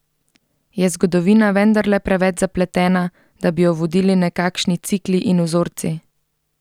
Je zgodovina vendarle preveč zapletena, da bi jo vodili nekakšni cikli in vzorci?